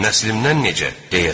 Nəslimdən necə?